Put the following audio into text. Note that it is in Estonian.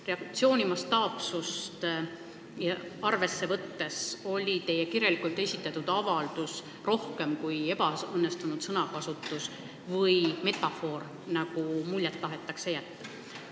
Reaktsiooni mastaapsust arvesse võttes oli teie kirjalikult esitatud mõtteavalduses tegu rohkemaga kui ebaõnnestunud sõnakasutuse või metafooriga, nagu on tahetud muljet jätta.